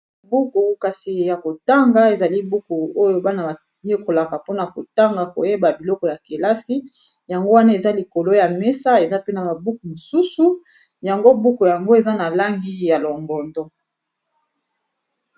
Buku kasi ya kotanga ezali buku oyo bana bayekolaka mpona kotanga koyeba biloko ya kelasi yango wana eza likolo ya mesa eza pe na ba buku mosusu yango buku yango eza na langi ya longondo.